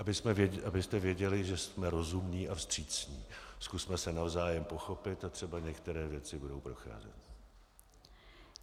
Abyste věděli, že jsme rozumní a vstřícní, zkusme se navzájem pochopit a třeba některé věci budou procházet.